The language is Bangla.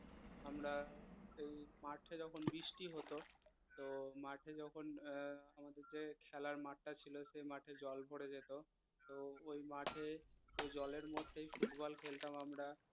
আমরা এই মাঠে যখন বৃষ্টি হত তো মাঠে যখন আহ আমাদের যে খেলার মাঠটা ছিল সেই মাঠে জল ভরে যেত তো ওই মাঠে ওই জলের মধ্যেই ফুটবল খেলতাম আমরা